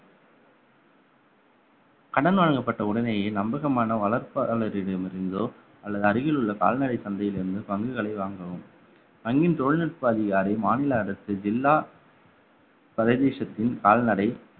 கடன் வழங்கப்பட்ட உடனேயே நம்பகமான வளர்ப்பு அலுவலரிடமிருந்தோ அல்லது அருகில் உள்ள கால்நடை சந்தையில் இருந்து பங்குகளை வாங்கவும் வங்கியின் தொழில்நுட்ப அதிகாரி மாநில அரசு ஜில்லா பரதேசத்தின் கால்நடை